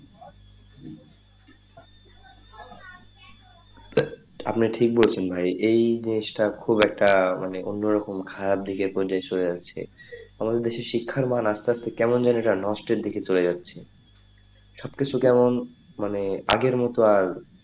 আপনি ঠিক বলছেন ভাই এই জিনিসটা খুব একটা মানে অন্য রকম খারাপ দিকে সরে যাচ্ছে আমাদের দেশের শিক্ষার মান আস্তে আস্তে কেমন জানি একটা নষ্টের দিকে চলে যাচ্ছে সব কিছু কেমন আগের মতো আর,